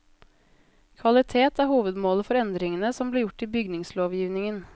Kvalitet er hovedmålet for endringene som ble gjort i bygningslovgivningen.